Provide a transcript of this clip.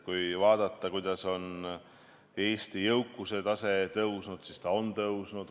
Kui vaadata, kuidas on Eesti jõukuse tase tõusnud, siis ta on tõusnud.